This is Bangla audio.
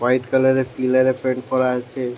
হোয়াট কালার -এ পিলার -এ প্রেরেইণ্ট করা আছে ।